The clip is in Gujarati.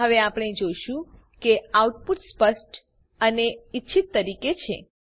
હવે આપણે જોશું કે આઉટપુટ સ્પષ્ટ અને ઈચ્છિત તરીકે છે